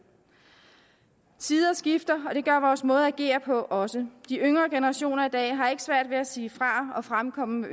tider skifter og det gør vores måde at agere på også de yngre generationer i dag har ikke svært ved at sige fra og fremkomme med